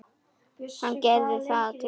Og hann gerir það glaður.